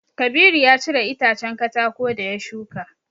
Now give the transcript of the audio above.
Kabiru ya cire itacen katako da ya shuka.